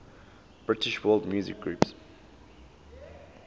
british world music groups